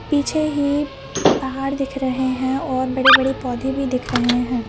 पीछे ही पहाड़ दिख रहे हैं और बड़े बड़े पौधे भी दिख रहे हैं।